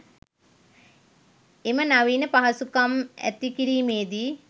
එම නවීන පහසුකම් ඇති කිරීමේදී